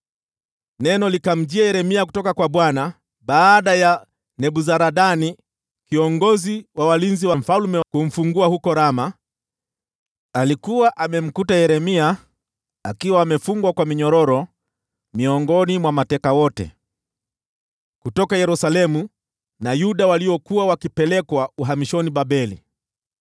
Neno likamjia Yeremia kutoka kwa Bwana baada ya Nebuzaradani kiongozi wa walinzi wa mfalme kumfungua huko Rama. Alikuwa amemkuta Yeremia akiwa amefungwa kwa minyororo miongoni mwa mateka wote kutoka Yerusalemu na Yuda waliokuwa wakipelekwa uhamishoni Babeli.